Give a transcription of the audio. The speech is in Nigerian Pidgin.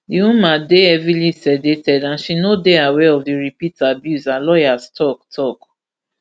di woman dey heavily sedated and she no dey aware of di repeat abuse her lawyers tok tok